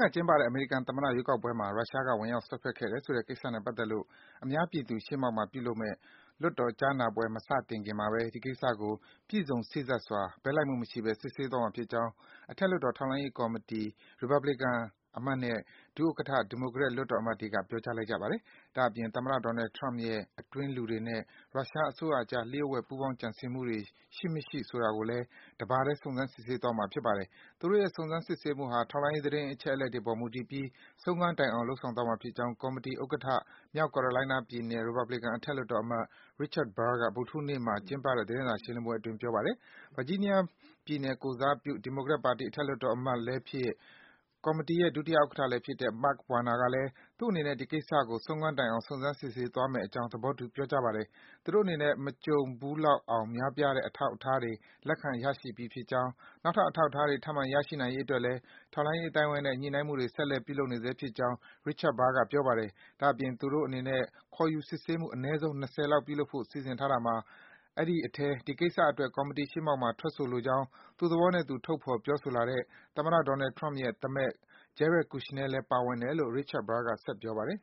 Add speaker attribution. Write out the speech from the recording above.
Speaker 1: က ကျင်းပခဲ့တဲ့ အမေရိကန်သမ္မတ ရွေးကောက်ပွဲမှာ ရုရှားနိုင်ငံက ဝင်ရောက် စွက်ဖက်ခဲ့တယ်ဆိုတဲ့ ကိစ္စနဲ့ပတ်သက်လို့ အများသူပြည် ရှေ့မှောက်မှာ ပြုလုပ်မယ့် အထက်လွှတ်တော် ကြားနာပွဲ မစတင်ခင်မှာပဲ ဒီကိစ္စကို ပြည့်စုံ စေ့စပ်စွာ ဘက်လိုက်မှုမရှိပဲ စစ်ဆေးသွားမှာ ဖြစ်ကြောင်း အထက်လွှတ်တော် ထောက်လှမ်းကော်မီတီဥက္ကဋ္ဌ ရီပတ်ဘလီကန် အမတ်နဲ့ ဒုဥက္ကဋ္ဌ ဒီမိုကရက် လွှတ်တော်အမတ်တွေက ကတိပေး ပြောကြားလိုက်ကြပါတယ်။ ဒါ့အပြင် သမ္မတ Donald Trump ရဲ့ အတွင်းလူတွေနဲ့ ရုရှားအစိုးရအကြား လျှို့ဝှက် ပူးပေါင်း ကြံစည်ခဲ့မှုတွေ ရှိမရှိဆိုတာကိုလည်း ဒီကြားနာပွဲမှာ တပါတည်း စုံစမ်း စစ်ဆေးသွားမှာ ဖြစ်ပါတယ်။ သူတို့ရဲ့ စုံစမ်းစစ်ဆေးမှုဟာ ထောက်လှမ်းရေး သတင်းအချက်အလက်တွေအပေါ် မူတည်ပြီး ဆုံးခန်းတိုင် လုပ်ဆောင်သွားမှာဖြစ်ကြောင်း ကော်မီတီဥက္ကဋ္ဌ မြောက် Carolina ပြည်နယ် ရီပတ်ဘလီကန် အထက်လွှတ်တော်အမတ် Richar Burr က ဗုဒ္ဓဟူးနေ့မှာ ကျင်းပတဲ့ သတင်းစာ ရှင်းလင်းပွဲအတွင်း ပြောပါတယ်။ Virginia ပြည်နယ်ကိုယ်စားပြု ဒီမိုကရက်ပါတီ အထက်လွှတ်တော်အမတ် Mark Warner ကလည်း - သူတို့အနေနဲ့ ဒီကိစ္စကို ဆုံးခန်းတိုင်အောင် စုံစမ်း စစ်ဆေးသွားမယ့်အကြောင်း သဘောတူ ပြောကြားပါတယ်။ သူတို့အနေနဲ့ မကြုံးလောက်အောင် များပြားတဲ့ အထောက်အထားတွေ လက်ခံ ရရှိပြီးဖြစ်ကြောင်း၊ နောက်ထပ် အထောက်အထားတွေ ထပ်မံ ရရှိနိုင်ရေးအတွက်လည်း ထောက်လှမ်းရေး အသိုင်းဝိုင်းနဲ့ ညှိနှိုင်းမှုတွေ ဆက်လက် ပြုလုပ်နေဆဲဖြစ်ကြောင်း Richard Burr က ပြောပါတယ်။ ဒါ့အပြင် သူတို့အနေနဲ့ ခေါ်ယူ စစ်ဆေးမှု အနဲဆုံး ၂၀ လောက် ပြုလုပ်ဖို့ စီစဉ်ထားတာမှာ အဲဒီအထဲ ဒီကိစ္စအတွက် ကော်မီတီရှေ့မှောက်မှာ ထွက်ဆိုလိုကြောင်း သူ့သဘောနဲ့သူ ထုတ်ဖော် ပြောဆိုလာတဲ့ သမ္မတ Trump ရဲ့ သားမက် Jared Kushner လည်း ပါဝင်တယ်လို့ Richard Burr က ဆက်ပြောပါတယ်